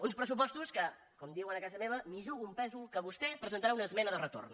uns pressu·postos que com diuen a casa meva m’hi jugo un pèsol que vostè hi presentarà una esmena de retorn